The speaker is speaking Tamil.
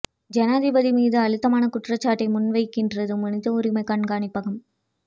ஜனாதிபதி மீது அழுத்தமான குற்றச்சாட்டை முன்வைக்கின்றது மனித உரிமை கண்காணிப்பகம்